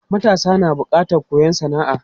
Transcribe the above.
Matasa na da bukatan koyon sana'a.